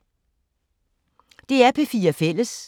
DR P4 Fælles